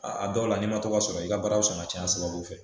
A dɔw la n'i ma to ka sɔrɔ i ka baaraw sɔn ka ca an saba fɛ